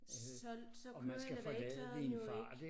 Så så kører elevatoren jo ikke